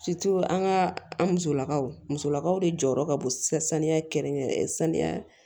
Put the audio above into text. an ka an musolakaw musolakaw de jɔyɔrɔ ka bon saniya kɛrɛnkɛrɛn saniya